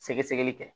Sɛgɛsɛgɛli kɛ